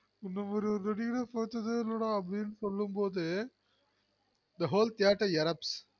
இந்த ஒரு நடிகனை பத்ததே இல்லடனு சொல்லும் பொது the hole theater erapsed